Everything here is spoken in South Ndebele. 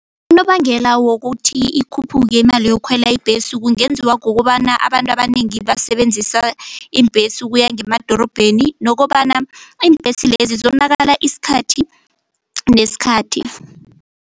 Unobangela wokuthi ikhuphuke imali yokukhwela ibhesi kungenziwa ngokobana abantu abanengi basebenzisa iimbhesi ukuya ngemadorobheni nokobana iimbhesi lezi zonakala isikhathi nesikhathi.